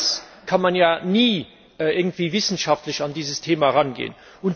Ohne das kann man ja nie in irgendeiner Form wissenschaftlich an dieses Thema herangehen.